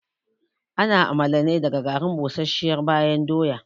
Ana amala ne daga garin busasshiyar bayan doya